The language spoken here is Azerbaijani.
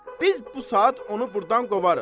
Biz bu saat onu burdan qovarıq.